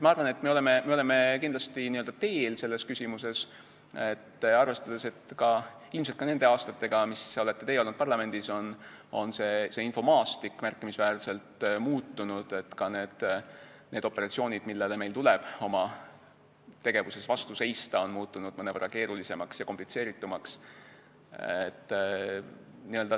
Ma arvan, et me oleme kindlasti selles küsimuses n-ö teel, arvestades, et ilmselt ka nende aastatega, kui teie olete parlamendis olnud, on infomaastik märkimisväärselt muutunud, ka need operatsioonid, millele meil tuleb oma tegevuses vastu seista, on muutunud mõnevõrra keerulisemaks ja komplitseeritumaks.